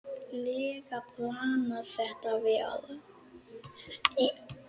lega planað þetta vel.